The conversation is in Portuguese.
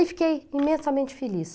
E fiquei imensamente feliz.